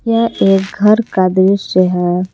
यह एक घर का दृश्य है।